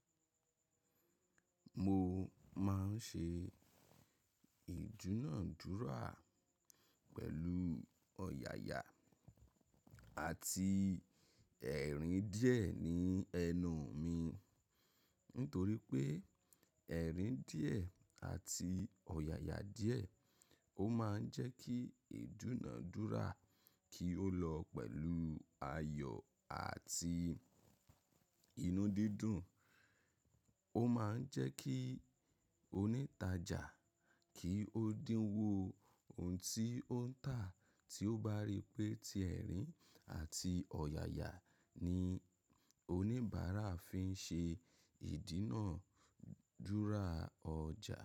Mo máa ń ṣe ìdúnàádúrà pẹ̀lú ọ̀yàyà àti ẹ̀rín díẹ̀ ní ẹnu mi. Nítorí pé ẹ̀rín díẹ̀ àti ọ̀yàyà díẹ̀ ó máa ń jẹ́ kí ìdúnàádúrà kí ó lọ pẹ̀lú ayọ̀ àti inú dídùn. Ó máa ń jẹ́ kí onítajà kí ó dínwó ohun tí ó ń tà tí ó bá rí pé ti ẹ̀rín àti ọ̀yàyà ni oníbàárà fi ń ṣe ìdínàádúrà ọjà.